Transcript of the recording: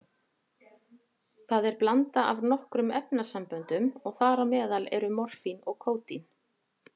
Það er blanda af nokkrum efnasamböndum og þar á meðal eru morfín og kódín.